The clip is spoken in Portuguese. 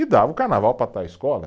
E dava o carnaval para tal escola